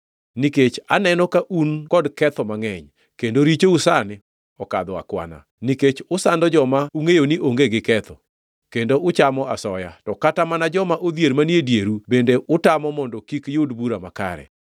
nikech aneno ka un kod ketho mangʼeny kendo richou sani okadho akwana, nikech usando joma ungʼeyo ni onge gi ketho, kendo uchamo asoya, to kata mana joma odhier manie dieru bende utamo mondo kik yud bura makare.